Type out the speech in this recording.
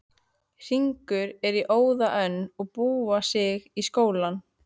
Hringur er í óða önn að búa sig í skólann.